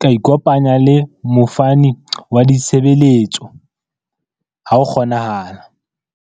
ka ikopanya le mofani wa ditshebeletso ha ho kgonahala.